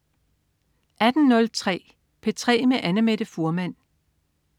18.03 P3 med Annamette Fuhrmann